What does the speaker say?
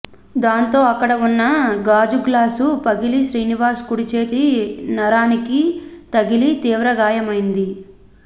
దీంతో అక్కడ ఉన్న గాజు గ్లాసు పగిలి శ్రీనివాస్ కుడి చేతి నరానికి తగిలి తీవ్రగాయమైంది